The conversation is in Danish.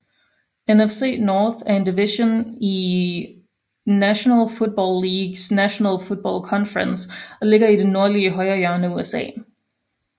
NFC North er en division i National Football Leagues National Football Conference og ligger i det nordlige højrehjørne af USA